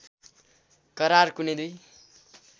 करार कुनै दुई